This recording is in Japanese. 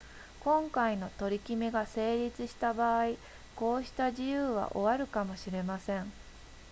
今回の取り決めが成立した場合こうした自由は終わるかもしれません